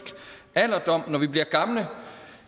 alderdom når vi bliver gamle